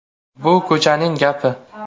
“Bu ko‘chaning gapi.